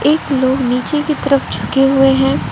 एक लोग नीचे की तरफ झुके हुए हैं।